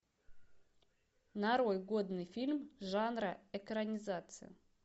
нарой годный фильм жанра экранизация